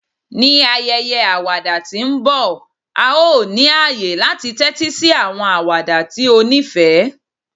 Ni ayẹyẹ awada ti nbọ, a yoo ni aye lati tẹtisi awọn awada ti o nifẹ